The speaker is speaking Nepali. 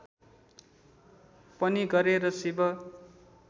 पनि गरे र शिव